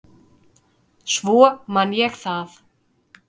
Svo man ég það.